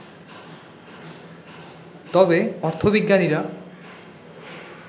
তবে অর্থবিজ্ঞানীরা